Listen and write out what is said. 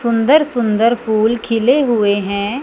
सुंदर सुंदर फूल खिले हुए हैं।